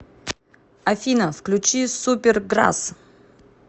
афина включи суперграсс